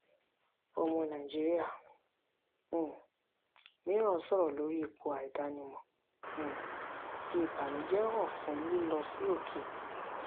ọmọ nàìjíríà um mìíràn sọ̀rọ̀ lórí ipò àìdánimọ̀ um fi ìbànújẹ́ hàn fún lílọ sí òkè.